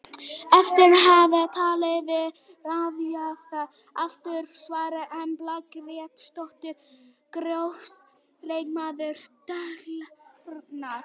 Eftir að hafa talað við ráðgjafann aftur er svarið Embla Grétarsdóttir Grófasti leikmaður deildarinnar?